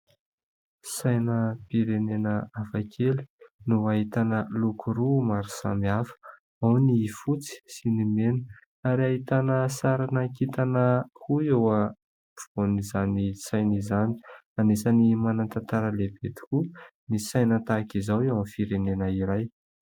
Sainam-pirenena hafakely, no hahitana loko roa maro samihafa. Ao ny fotsy sy ny mena ary hahitana sarina kintana koa eo ampofoan'izany saina izany. Anisany manan-tantara lehibe tokoa ny saina tahaka izao, eo amin'ny firenena iray.